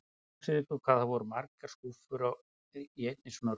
Hugsið ykkur hvað það eru margar skrúfur í einni svona rútu!